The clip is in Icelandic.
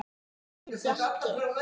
Þinn Bjarki.